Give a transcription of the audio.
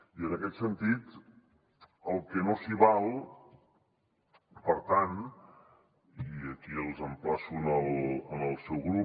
i en aquest sentit el que no s’hi val per tant i aquí els emplaço el seu grup